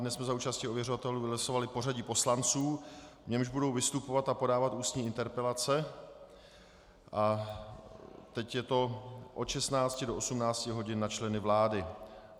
Dnes jsme za účasti ověřovatelů vylosovali pořadí poslanců, v němž budou vystupovat a podávat ústní interpelace, a teď je to od 16 do 18 hodin na členy vlády.